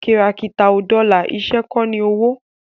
kìràkìtà ò dọlà, iṣẹ́ kọ́ ní owó